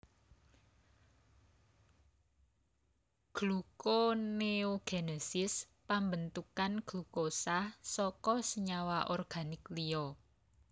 Glukoneogenesis pambentukan glukosa saka senyawa organik liya